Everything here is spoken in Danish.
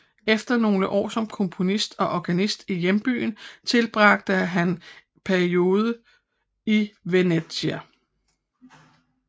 Efter nogle år som komponist og organist i hjembyen tilbragte han en periode i Venezia